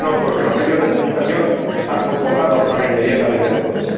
No, no, porque los medios de comunicación están convocados para inmediatamente después.